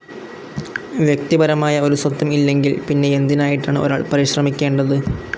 വ്യെക്തിപരമായ ഒരു സ്വത്വം ഇല്ലെങ്കിൽ, പിന്നെ എന്തിനായിട്ടാണ് ഒരാൾ പരിശ്രെമിക്കേണ്ടത്?